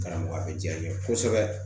Karamɔgɔ bɛ diya n ye kosɛbɛ